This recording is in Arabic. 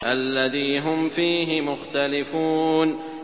الَّذِي هُمْ فِيهِ مُخْتَلِفُونَ